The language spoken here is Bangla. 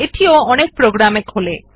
এটিও অনেক প্রোগ্রাম এ খোলে